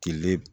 Kile